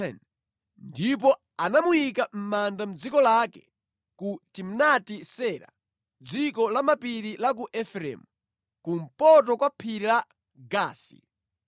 ndipo anamuyika mʼmanda mʼdziko lake, ku Timnati-Sera dziko lamapiri la ku Efereimu, kumpoto kwa phiri la Gaasi.